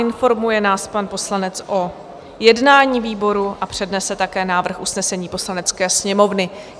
Informuje nás pan poslanec o jednání výboru a přednese také návrh usnesení Poslanecké sněmovny.